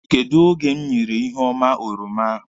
Kedụ oge m nyere Iheoma oroma ahụ?